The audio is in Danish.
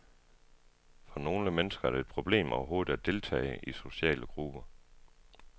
For nogle mennesker er det et problem overhovedet at deltage i sociale grupper.